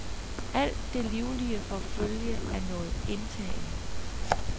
Alt det livlige får følge af noget indtagende.